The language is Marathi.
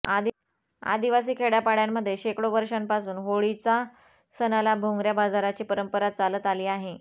आदिवासी खेड्यापाड्यांमध्ये शेकडो वर्षांपासून होळीचा सणाला भोंगऱ्या बाजाराची परंपरा चालत आली आहे